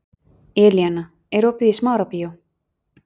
Elíana, er opið í Smárabíói?